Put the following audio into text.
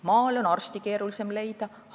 Maale on arste keerulisem leida.